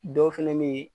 Dɔw fɛnɛ be ye